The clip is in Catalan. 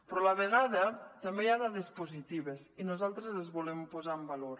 però a la vegada també hi ha dades positives i nosaltres les volem posar en valor